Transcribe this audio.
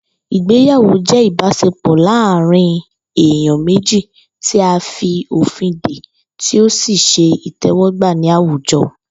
Ìgbéyàwó jé̩ ìbás̩e̩pò̩ láàárín èèyàn méjì tí a fi òfin dè tí ó sì s̩e ìté̩wó̩gbà ní àwùjo̩